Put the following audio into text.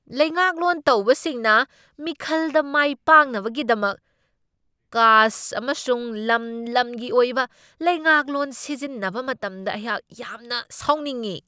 ꯂꯩꯉꯥꯛꯂꯣꯟ ꯇꯧꯕꯁꯤꯡꯅ ꯃꯤꯈꯜꯗ ꯃꯥꯏ ꯄꯥꯛꯅꯕꯒꯤꯗꯃꯛ ꯀꯥꯁ꯭ꯠ ꯑꯃꯁꯨꯡ ꯂꯝ ꯂꯝꯒꯤ ꯑꯣꯏꯕ ꯂꯩꯉꯥꯛꯂꯣꯟ ꯁꯤꯖꯤꯟꯅꯕ ꯃꯇꯝꯗ ꯑꯩꯍꯥꯛ ꯌꯥꯝꯅ ꯁꯥꯎꯅꯤꯡꯢ꯫